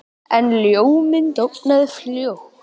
En ljóminn dofnaði fljótt.